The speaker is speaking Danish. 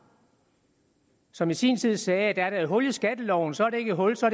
som i sin tid sagde at er der et hul i skatteloven så er det ikke et hul så